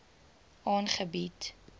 aangebied